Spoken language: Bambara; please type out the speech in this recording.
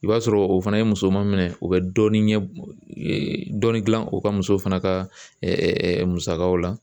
I b'a sɔrɔ o fana ye muso maminɛ o bɛ dɔɔnin ɲɛ dɔɔnin dilan o ka muso fana ka musakaw la